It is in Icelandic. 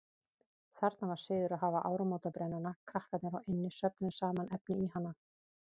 Þarna var siður að hafa áramótabrennuna, krakkarnir á eynni söfnuðu saman efni í hana.